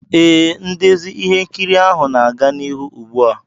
Ee, ndezi ihe nkiri ahụ na-aga n'ihu ugbu a.